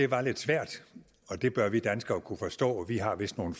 var lidt svært og det bør vi danskere kunne forstå vi har vist nogle